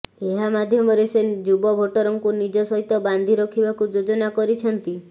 ଏହା ମାଧ୍ୟମରେ ସେ ଯୁବ ଭୋଟରଙ୍କୁ ନିଜ ସହିତ ବାନ୍ଧି ରଖିବାକୁ ଯୋଜନା କରିଛନ୍ତି